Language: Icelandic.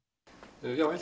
já held